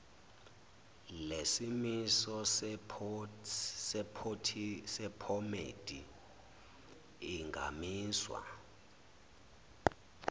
lesimiso sephomedi ingamiswa